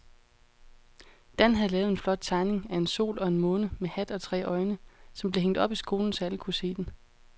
Dan havde lavet en flot tegning af en sol og en måne med hat og tre øjne, som blev hængt op i skolen, så alle kunne se den.